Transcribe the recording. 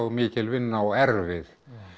mikil vinna og erfið